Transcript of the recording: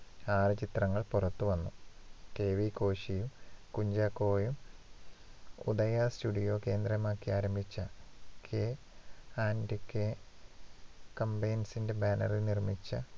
ആറു ചിത്രങ്ങൾ പൊറത്തുവന്നു. കെ. വി. കോശിയും കുഞ്ചാക്കോയും ഉദയാ studio കേന്ദ്രമാക്കി ആരംഭിച്ച K and K Combines ന്‍റെ banner ഇല്‍ നിർമ്മിച്ച